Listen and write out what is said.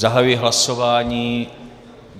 Zahajuji hlasování.